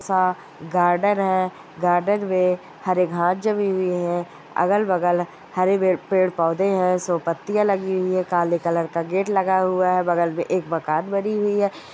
सा गार्डन है गार्डन मैं हरे घांस जमी हुई है अगल बगल हरे पे-पेड़ पौधे है सो पत्तिया लगी हुई है काले कलर का गेट लगा हुआ है बगल मैं एक मकान बनी हुई है।